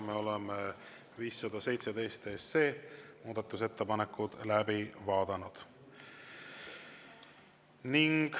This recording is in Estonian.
Me oleme 517 SE muudatusettepanekud läbi vaadanud.